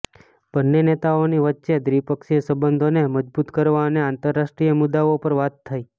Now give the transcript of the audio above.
બંને નેતાઓની વચ્ચે દ્વીપક્ષીય સંબંધોને મજબૂત કરવા અને આંતરરાષ્ટ્રીય મુદ્દાઓ પર વાત થઈ